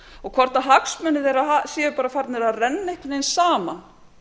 og hvort hagsmunir þeirra séu bara farnir að renna einhvern veginn saman